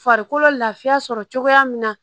Farikolo lafiya sɔrɔ cogoya min na